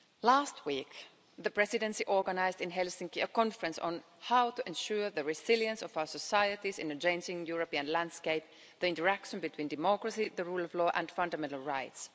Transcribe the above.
Last week the Presidency organised in Helsinki a conference on how to ensure the resilience of our societies in a changing European landscape the interaction between democracy, the rule of law and fundamental rights.